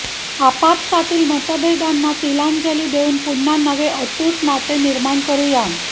आपापसातील मतभेदांना तिलांजली देऊन पुन्हा नवे अतूट नाते निर्माण करूया